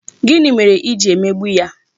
Gịnị mere I ji emegbu ya?